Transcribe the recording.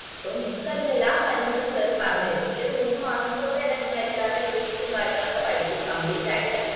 so നിങ്ങക്കതില് എല്ലാ കാര്യങ്ങളു sir പറഞ്ഞേരും ഈ ഒരു മൂന്ന് മാസം കൊണ്ടെന്നേ നിങ്ങള് HR ന്റെ duties കാര്യങ്ങളൊക്കെ പഠിക്കും complete ആയിട്ട്